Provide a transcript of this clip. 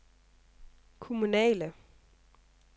kommunale